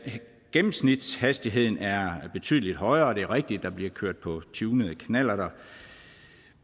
gennemsnitshastigheden er betydelig højere og det er rigtigt at der bliver kørt på tunede knallerter